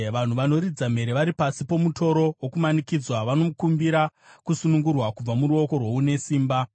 “Vanhu vanoridza mhere vari pasi pomutoro wokumanikidzwa; vanokumbira kusunungurwa kubva muruoko rwoune simba.